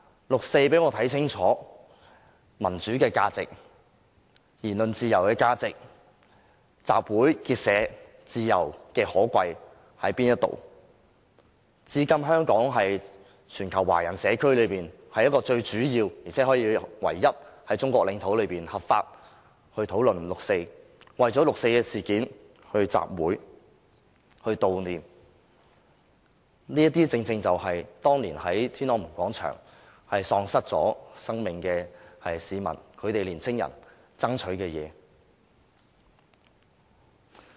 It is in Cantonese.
六四讓我看清楚民主和言論自由的價值、集會結社自由的可貴，至今香港仍然是全球華人社區內最主要的，而且是唯一能在中國領土上合法討論六四、為六四事件舉行集會和悼念活動的地方，這些正是當年在天安門廣場喪失性命的市民及年青人爭取的東西。